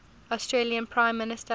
australian prime minister